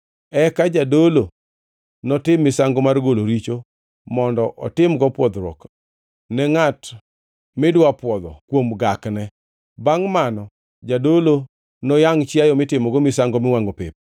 “Eka jadolo notim misango mar golo richo mondo otimgo pwodhruok ne ngʼat midwa pwodho kuom gakne. Bangʼ mano jadolo noyangʼ chiayo mitimogo misango miwangʼo pep,